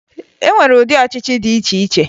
E nwere ụdị ọchịchị dị iche iche